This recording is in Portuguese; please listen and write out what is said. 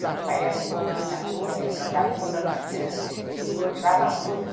Meu pai era um bom nadador, ele nadava toda manhã, ele gostava muito.